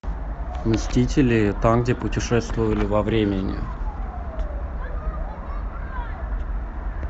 мстители там где путешествовали во времени